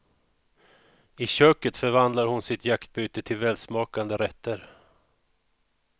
I köket förvandlar hon sitt jaktbyte till välsmakande rätter.